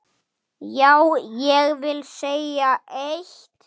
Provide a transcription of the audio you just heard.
Já, ég vil segja eitt!